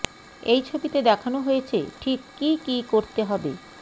এই ছবিতে দেখানো হয়েছে ঠিক কী কী করতে হবে